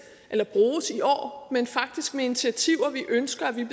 eller bruges i år men faktisk med initiativer vi ønsker at vi